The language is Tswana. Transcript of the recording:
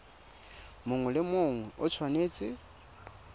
mongwe le mongwe o tshwanetse